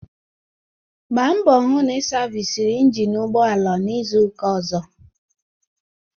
Gba mgbọ hụ na ị savisiri ịnginu ụgbọala n'izuka ọzọ!